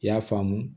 I y'a faamu